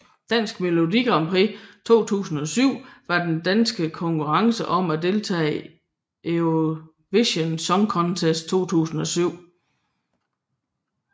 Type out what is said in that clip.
Dansk Melodi Grand Prix 2007 var den danske konkurrence om at deltage i Eurovision Song Contest 2007